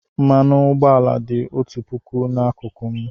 Mmanụ ụgbọala dị otu puku n'akụkụ m.